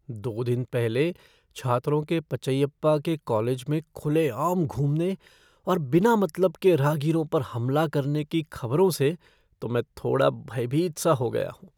दो दिन पहले छात्रों के पचैयप्पा के कॉलेज में खुले-आम घूमने और बिना मतलब के राहगीरों पर हमला करने की खबरों से तो मैं थोड़ा भयभीत सा हो गया हूँ।